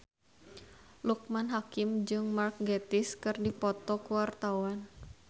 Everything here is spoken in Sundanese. Loekman Hakim jeung Mark Gatiss keur dipoto ku wartawan